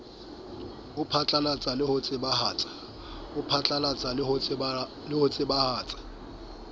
o phatlalatsang le ho tsebahatsa